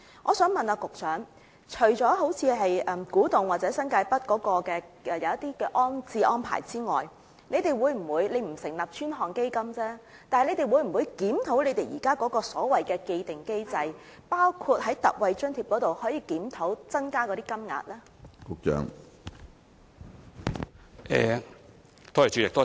我想問局長，除了古洞和新界北的安置安排外，如果不成立專項基金，政府會否考慮檢討現時的既定機制，包括檢討特惠津貼以增加金額呢？